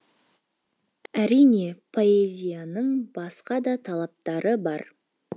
әрине поэзияның басқа да талаптары бар